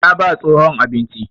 Ta ba tsohon abinci.